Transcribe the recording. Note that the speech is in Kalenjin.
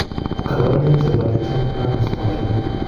Kabarunaik chebo lichen planus ko achon ?